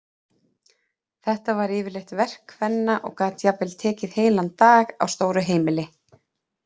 Þetta var yfirleitt verk kvenna og gat jafnvel tekið heilan dag á stóru heimili.